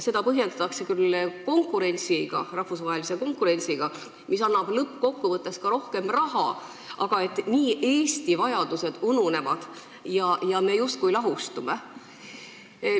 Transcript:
Seda põhjendatakse küll rahvusvahelise konkurentsiga ja see annab lõppkokkuvõttes ka rohkem raha, aga Eesti vajadused niimoodi ununevad ja me justkui lahustume.